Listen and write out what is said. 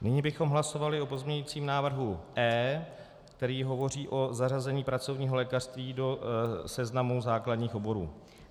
Nyní bychom hlasovali o pozměňujícím návrhu E, který hovoří o zařazení pracovního lékařství do seznamu základních oborů.